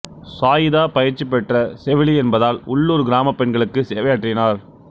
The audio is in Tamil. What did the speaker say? சாயிதா பயிற்சி பெற்ற செவிலி என்பதால் உள்ளூர் கிராமப் பெண்களுக்கு சேவையாற்றினார்